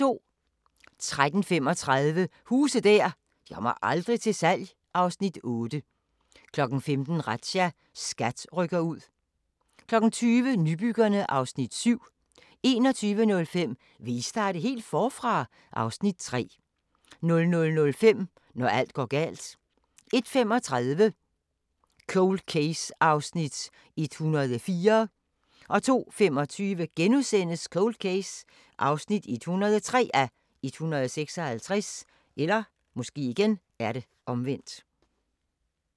13:35: Huse der aldrig kommer til salg (Afs. 8) 15:00: Razzia - SKAT rykker ud 20:00: Nybyggerne (Afs. 7) 21:05: Vil I starte helt forfra? (Afs. 3) 00:05: Når alt går galt 01:35: Cold Case (104:156) 02:25: Cold Case (103:156)*